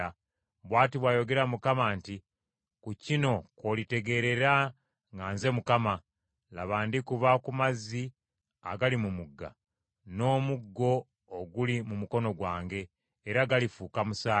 Bw’ati bw’ayogera Mukama nti, ‘Ku kino kw’olitegeerera nga nze Mukama : laba ndikuba ku mazzi agali mu mugga, n’omuggo oguli mu mukono gwange, era galifuuka musaayi,